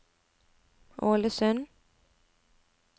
Ålesund